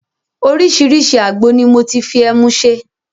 Oriṣiriṣi àgbo ni mo ti fi ẹmu ṣe.